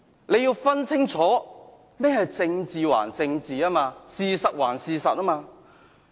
他要分清楚，政治歸政治，事實歸事實。